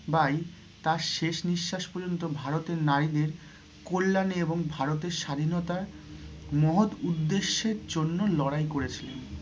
By তার শেষ নিঃশাস পর্যন্ত ভারতের নারীদের কল্যাণ এবং ভারতের স্বাধীনতার মহৎ উদ্দেশ্যের জন্য লড়াই করেছিলেন।